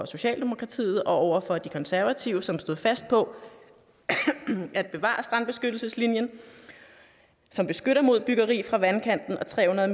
socialdemokratiet og over for de konservative som stod fast på at bevare strandbeskyttelseslinjen som beskytter mod byggeri fra vandkanten og tre hundrede